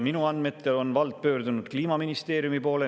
Minu andmetel on vald pöördunud Kliimaministeeriumi poole.